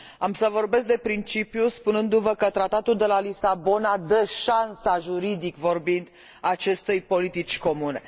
Am să vorbesc despre principiu, spunându vă că Tratatul de la Lisabona dă șansa, juridic vorbind, acestei politici comune.